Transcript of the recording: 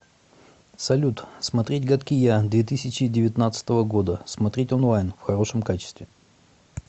салют смотреть гадкий я две тысячи девятнадцатого года смотреть онлайн в хорошем качестве